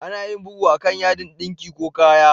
Ana yin bugu a'kan yadin dinki ko kaya.